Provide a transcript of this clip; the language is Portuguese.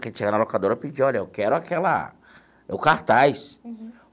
Que a gente chegava na locadora e pedia, olha, eu quero aquela o cartaz.